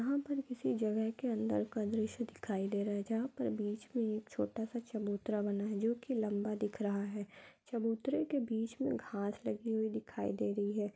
यहाँ पर किसी जगह के अंदर का दृश्य दिखाई दे रहा है जहां पर बीच मे एक छोटा सा चबूतरा बना है जोकी लंबा दिख रहा है चबूतरे के बीच मे घास लगी हुई दिखाई दे रही है।